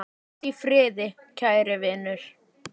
Hvíldu í friði, kæri vinur.